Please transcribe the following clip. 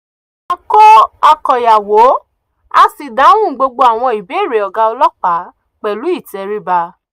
a kó àkòyawọ́ a sì dáhùn gbogbo àwọn ìbéèrè ọ̀gá ọlọ́pàá pẹ̀lú ìtẹríba